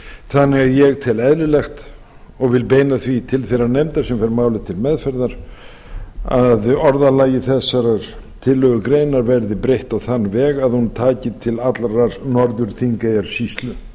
þannig að ég tel eðlilegt og vil beina því til þeirrar nefndar sem fær málið til meðferðar að orðalagi þessarar tillögugreinar verði breytt á þann veg að hún taki til allrar norður þingeyjarsýslu